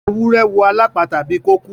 Ewúrẹ́ wò alapata bí ko kú.